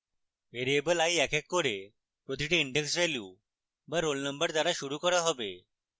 variable i এক এক করে প্রতিটি index value be roll number দ্বারা শুরু করা হবে